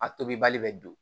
A tobi bali bɛ don